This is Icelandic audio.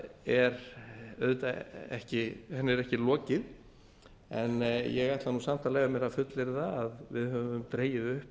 þeirri vinnu er ekki lokið en ég ætla samt að leyfa mér að fullyrða að við höfum dregið upp